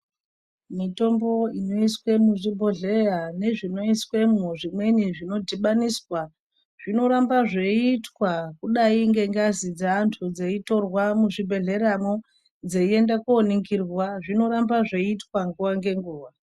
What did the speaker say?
Mitombo inoiswa muzvibhohleya nezvimweni zvinodhibaniswa zvinoramba zveiitwa zvakadai ngengazi dzeantu dzeitorwa muzvibhehleramwo dzeienda koningirwa. Zvinoramba zveiitwa nguwa ngenguwa.